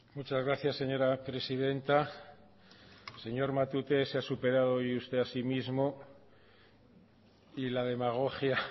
muchas gracias señora presidenta señor matute se ha superado hoy usted a sí mismo y la demagogia